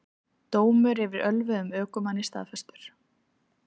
Dómur yfir ölvuðum ökumanni staðfestur